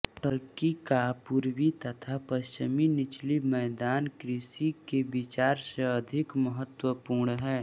Turkey का पूर्वी तथा पश्चिमी निचला मैदान कृषि के विचार से अधिक महत्वपूर्ण है